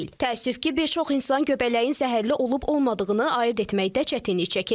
Təəssüf ki, bir çox insan göbələyin zəhərli olub-olmadığını ayırd etməkdə çətinlik çəkir.